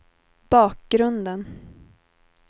bakgrunden